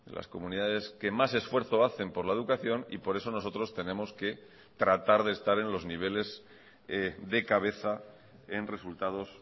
las comunidades que más esfuerzo hacen por la educación y por eso nosotros tenemos que tratar de estar en los niveles de cabeza en resultados